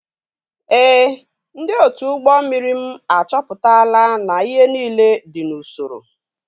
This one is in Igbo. Ee. Ndị otu ụgbọ mmiri m achọpụtala na ihe niile dị n'usoro